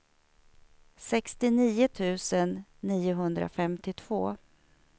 sextionio tusen niohundrafemtiotvå